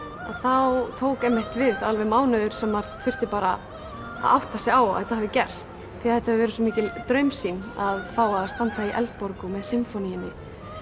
þá tók einmitt við alveg mánuður sem þurfti bara að átta sig á að þetta hefði gerst því þetta hefur verið svo mikil draumsýn að fá að standa í Eldborg með Sinfoníunni